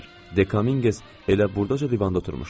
Dekaminges elə burdaca divanda oturmuşdu.